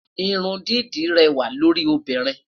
Irun dídá réwà lórí obinrin